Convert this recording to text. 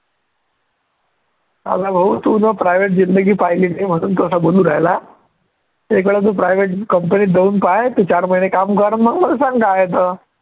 अरे भाऊ तू न private जिंदगी पहिली नाही म्हणून तू असं बोलू राहिला एक वेळ तू private company त जाऊन पाह्य तू चार महीने काम कर मग मला सांग काय आहे तर